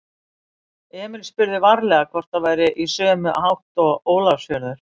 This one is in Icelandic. Emil spurði varlega hvort það væri í sömu átt og Ólafsfjörður.